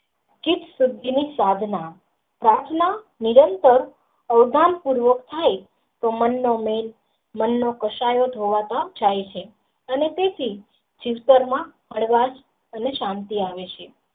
ની સુધી સાધના પ્રાર્થના નિરંતર આધ્યાન પૂર્વક થાય તે મન નો મેલ મન નો ખસારોં થઈ છે અને તેથી જીવતર માં હળવાશ અને શાંતિ આવે છે.